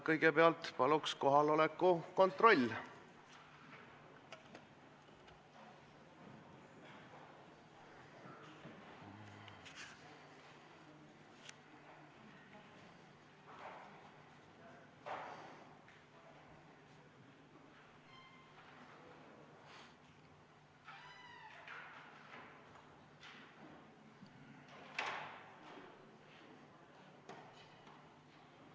Kõigepealt palun kohaloleku kontrolli!